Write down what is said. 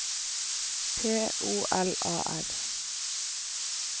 P O L A R